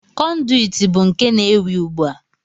Kọnduit bụ nke na-ewi ugbu a.